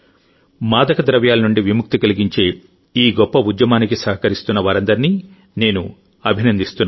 మాదక ద్రవ్యాల నుండి విముక్తి కలిగించే ఈ గొప్ప ఉద్యమం సహకరిస్తున్న వారందరినీ నేను అభినందిస్తున్నాను